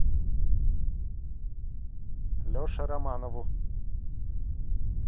леше романову